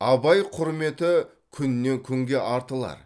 абай құрметі күннен күнге артылар